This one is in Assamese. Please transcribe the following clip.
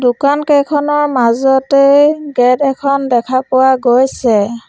দোকান কেইখনৰ মাজতে গেট এখন দেখা পোৱা গৈছে।